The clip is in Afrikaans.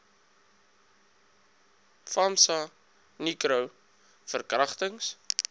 famsa nicro verkragtings